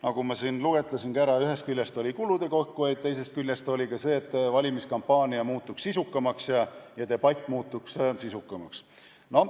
Nagu ma siin ka loetlesin, oli ühest küljest põhjuseks kulude kokkuhoid ning teisest küljest see, et valimiskampaania muutuks sisukamaks ja debatt muutuks sisukamaks.